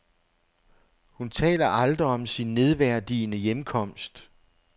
Hun taler aldrig om sin nedværdigende hjemkomst.